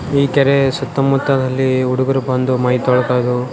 ಈ ಕೆರೆ ಸುತ್ತ ಮುತ್ತಿನಲ್ಲಿ ಹುಡುಗರ್ ಬಂಡಿ ಮೈ ತೊಳ್ಕದು --